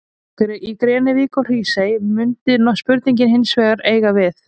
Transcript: Í Grenivík og Hrísey mundi spurningin hins vegar eiga við.